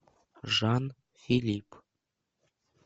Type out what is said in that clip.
жан филипп